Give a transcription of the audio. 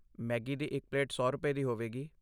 Maggi ਦੀ ਇੱਕ plate ਸੌ ਰੁਪਏ, ਦੀ ਹੋਵੇਗੀ